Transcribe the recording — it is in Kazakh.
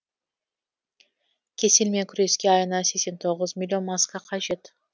кеселмен күреске айына сексен тоғыз миллион маска қажет